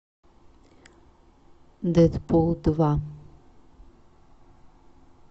дэдпул два